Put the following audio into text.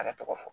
A ka tɔgɔ fɔ